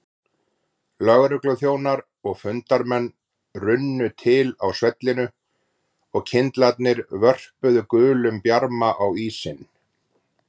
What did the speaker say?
Lögregluþjónar og fundarmenn runnu til á svellinu og kyndlarnir vörpuðu gulum bjarma á ísinn.